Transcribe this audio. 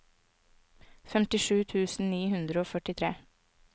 femtisju tusen ni hundre og førtitre